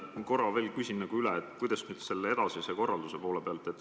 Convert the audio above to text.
Ma korra küsin veel üle, et kuidas selle edasise korraldusega on.